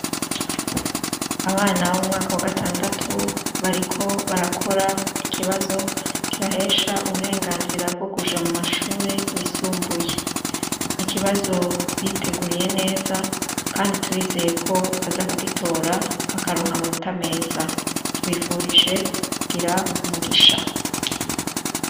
Abana bo mu mwaka wa gatandatu, bariko barakor' ikibazo kibahesh' uburenganzira bwo kuja mu mashure y' isumbuye, n' ikibazo biteguriye neza kandi turizeyeko bazakugitora, bakaronk' amanota meza tubifurije kugir' umugisha